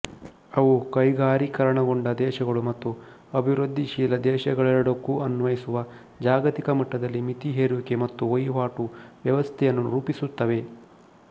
ಅವು ಕೈಗಾರೀಕರಣಗೊಂಡ ದೇಶಗಳು ಮತ್ತು ಅಭಿವೃದ್ಧಿಶೀಲ ದೇಶಗಳೆರಡಕ್ಕೂ ಅನ್ವಯಿಸುವ ಜಾಗತಿಕ ಮಟ್ಟದಲ್ಲಿ ಮಿತಿ ಹೇರುವಿಕೆಮತ್ತುವಹಿವಾಟು ವ್ಯವಸ್ಥೆಯನ್ನು ರೂಪಿಸುತ್ತವೆ